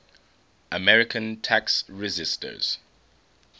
american tax resisters